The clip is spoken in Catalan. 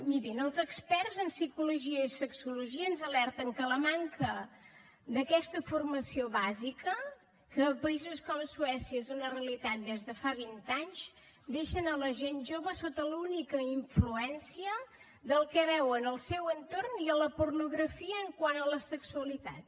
mirin els experts en psicologia i sexologia ens alerten que la manca d’aquesta formació bàsica que a països com suècia és una realitat des de fa vint anys deixen la gent jove sota l’única influència del que veuen al seu entorn i de la pornografia quant a la sexualitat